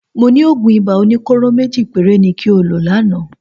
Mo ní òògùn ibà oníkóró méjì péré ni kí o lò lánàá